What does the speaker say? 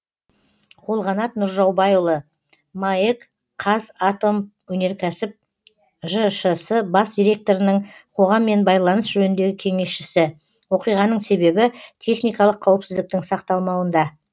қолғанат нұржаубайұлы маэк қазатомөнеркәсіп жшс бас директорының қоғаммен байланыс жөніндегі кеңесшісі оқиғаның себебі техникалық қауіпсіздіктің сақталмауында